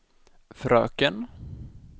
fröken